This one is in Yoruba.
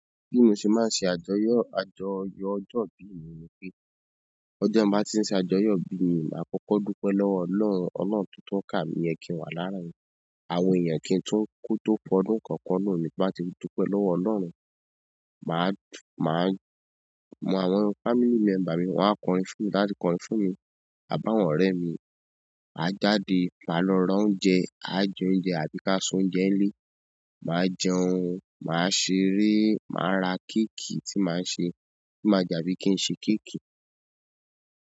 Bí mo ṣe máa ń ṣe àjọyọ̀, àjọyọ̀ ọjọ́ ìbí mi ni pé, ọjọ́ n báa tí ń ṣe àjọyọ̀ ìbí mi, màá kọ́kọ́ dúpẹ́ lọ́wọ́ Ọlọ́run, ọlọ́run tó kà mí yẹn kì ń wà láarin àwọn èèyàn, kí n tó fọdún kan kùn ọdún mi. Ti n ba ti n dúpẹ́ lọ́wọ́ Ọlọ́run. Màá, màá àwọn family member mi, wọn á kọrin fún mi, tan ba ti kọrin fún mi, àbí áwọ̀n orẹ́ mi. A jáde, máa lọ ra oúnjẹ, á je oúnjẹ àbí ká se oúnjẹ ní ilé. Màá jẹun, màá ṣeré, màá ra kéékì tí màá ṣe, tí màá jàbí kí n ṣe kéékì.